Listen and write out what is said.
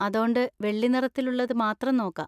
അതോണ്ട്, വെള്ളിനിറത്തിലുള്ളത് മാത്രം നോക്കാ.